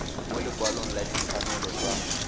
mo lekwalong la ditshwanelo tsa